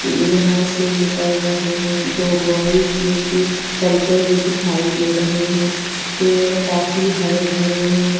यहां से निकल रहे हैं दो बॉयज जो कि चलते हुए दिखाई दे रहे हैं पेड़ काफी हरे भरे हैं.